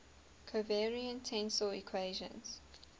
covariant tensor equations